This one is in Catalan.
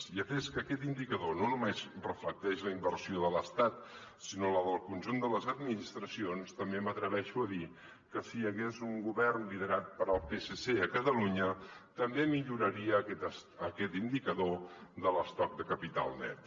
i atès que aquest indicador no només reflecteix la inversió de l’estat sinó la del conjunt de les administracions també m’atreveixo a dir que si hi hagués un govern liderat pel psc a catalunya també milloraria aquest indicador de l’estoc de capital net